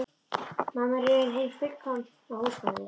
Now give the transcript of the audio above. Mamma var í raun hin fullkomna húsmóðir.